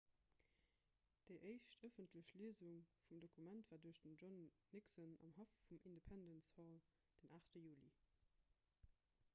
déi éischt ëffentlech liesung vum dokument war duerch den john nixon am haff vum independence hall den 8 juli